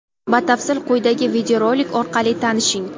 Batafsil quyidagi videorolik orqali tanishing!.